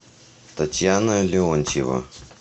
татьяна леонтьева